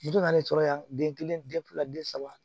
Don n'ale sɔrɔ la yan den kelen den fila den saba